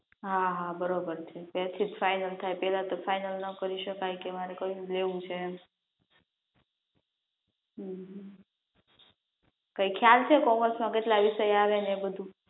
હા હા બરાબર છે, ત્યારથીજ ફાઇનલ થાય પેલા તો ફાઇનલ ના કરી શકાય કે મારે કયું લેવું છે એમ હમ કાઈ ખ્યાલ છે કોમર્સ માં કેટલા વિષય આવે ને એ બધું?